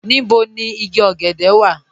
Níbò ni ìgí ògẹ̀dẹ̀ wà?